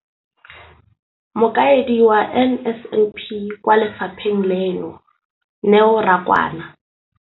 Mokaedi wa NSNP kwa lefapheng leno, Neo Rakwena,